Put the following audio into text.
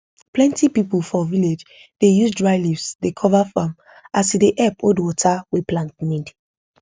plenty people for village dey use dry leaves dey cover farm as e dey help hold water wey plant need